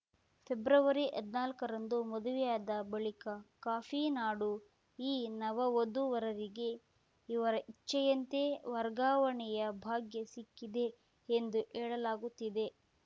ಫೆಬ್ರವರಿಹದ್ನಾಲ್ಕರಂದು ಮದುವೆಯಾದ ಬಳಿಕ ಕಾಫಿ ನಾಡು ಈ ನವವಧು ವರರಿಗೆ ಇವರ ಇಚ್ಛೆಯಂತೆ ವರ್ಗಾವಣೆಯ ಭಾಗ್ಯ ಸಿಕ್ಕಿದೆ ಎಂದು ಹೇಳಲಾಗುತ್ತಿದೆ